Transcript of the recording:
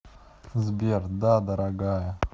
сбер да дорогая